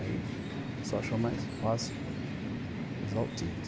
Aí o pessoal achou mais fácil usar o ticket.